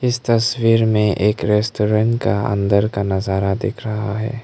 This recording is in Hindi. इस तस्वीर में एक रेस्टोरेंट का अंदर का नजारा दिख रहा है।